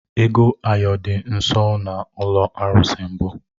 Ego ayo dị nsọ na ụlọ arụsị mbụ